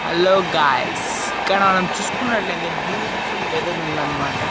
Hello guys ఇక్కడ మనం చూసుకున్నట్లయితే బ్యూటిఫుల్ వెదర్ ఉందన్మాట.